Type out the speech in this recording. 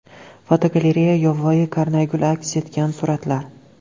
Fotogalereya: Yovvoyi karnaygul aks etgan suratlar.